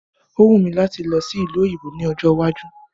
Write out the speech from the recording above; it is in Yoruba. O wù mí láti lọ sí ìlú òyìnbó ní ọjọ́ iwájú